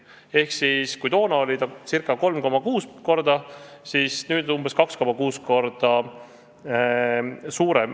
Ehk kui toona oli vahe ca 3,6-kordne, siis nüüd on see umbes 2,6-kordne.